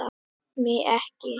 MIG EKKI!